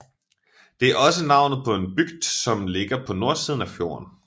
Det er også navnet på en bygd som ligger på nordsiden af fjorden